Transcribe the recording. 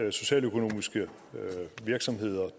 at socialøkonomiske virksomheder